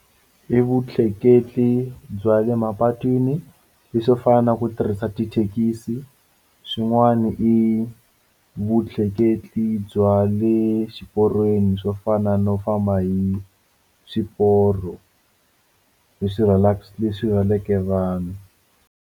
I vutleketli bya le mapatwini leswo fana na ku tirhisa tithekisi swin'wana i vutleketli bya le xiporweni swo fana no famba hi swiporo leswi leswi rhwaleke vanhu.